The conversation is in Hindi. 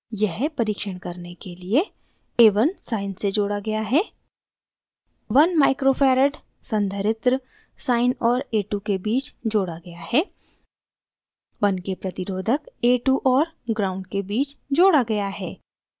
यह परिक्षण करने के लिए a1 sine से जोड़ा गया है